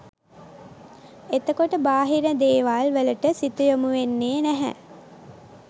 එතකොට බාහිර දේවල් වලට සිත යොමුවෙන්නෙ නැහැ